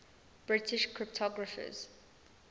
british cryptographers